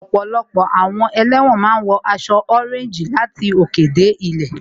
Ọ̀pọ̀lọpọ̀ àwọn ẹlẹ́wọ̀n máa ń wọ aṣọ ọréńjì láti òkè dé ilẹ̀